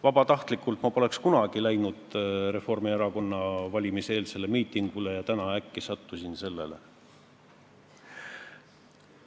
Vabatahtlikult ma poleks küll kunagi läinud Reformierakonna valimiseelsele miitingule, aga täna äkki sattusin sellele.